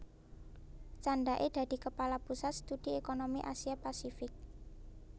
Candhake dadi Kepala Pusat Studi Ekonomi Asia Pasifik